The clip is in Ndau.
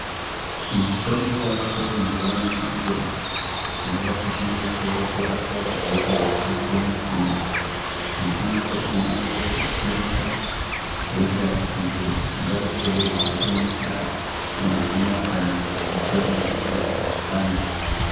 Mitombo yavako mazuwa anaya iyo, yavakushandiswawo kurapa hosha dzakasiyana-siyana .Mitombo iyi ingadai ichirapa hosha idzo dzingangove dzichisanganisira mazino kana madziso ,angangodai achipanda.